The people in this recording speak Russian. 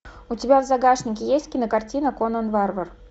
у тебя в загашнике есть кинокартина конан варвар